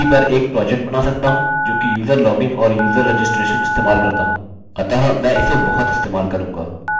मैं किसी पर एक प्रोजेक्ट बना सकता हूँ जो कि यूज़र लॉगिन और यूज़र रजिस्ट्रेशन इस्तेमाल करता हो अतः मैं इसे बहुत इस्तेमाल करूँगा